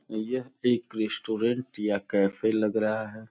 यह एक रेस्टोरेंट या कैफ़े लग रहा है।